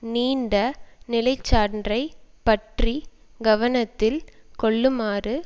நீண்ட நிலை சான்றை பற்றி கவனத்தில் கொள்ளுமாறு